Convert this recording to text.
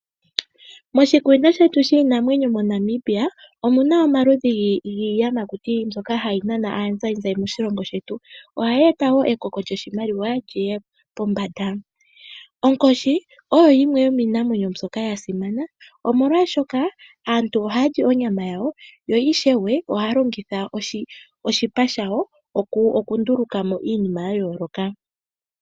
Moshikunino shetu shiinamwenyo moNamibia omu na omaludhi giiyamakuti mbyoka hayi nana aazayizayi moshilongo shetu. Ohaye eta wo ekoko lyoshimaliwa li ye pombanda. Onkoshi oyo yimwe yomiinamwenyo mbyoka ya simana, omowashoka aantu ohaya li onyama yawo yo ishewe ohaya longitha oshipa shawo okunduluka mo iinima ya yooloka.